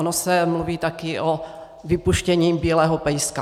Ono se mluví taky o vypuštění bílého pejska.